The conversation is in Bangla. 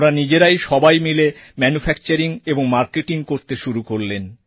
ওঁরা নিজেরাই সবাই মিলে ম্যানুফ্যাকচারিং ও মার্কেটিং করতে শুরু করলেন